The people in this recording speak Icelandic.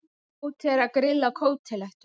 Tóti er að grilla kótilettur.